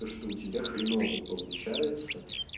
то что у тебя хреново получается